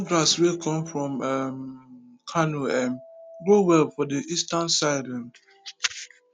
the new grass wey come from um kano um grow well for the eastern side um